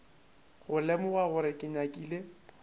go lemoga gore ke nyakile